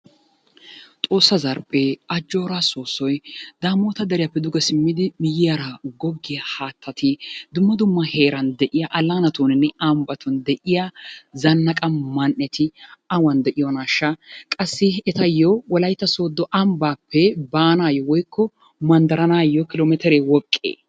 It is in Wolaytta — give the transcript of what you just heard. Xoossa zarphphee, ajjooraa soossoy, Daamoota deriyappe duge simmidi miyyiyara duge goggiya haattati dumma dumma heeran de'iya allaanatuuninne ambbatun de'iya zannaqa man"eti awan de'iyonaashsha? Qassi etayyo wolaytta sooddo ambbaappe baanaayyo woykko manddaranaayyo kilo meteree woqqee?